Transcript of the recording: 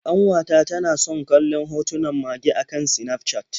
Ƙanwata tana san kallon hotunan mage a kan Sinafcat.